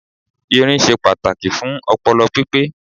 Irin se pàtàkì fún opolo pípé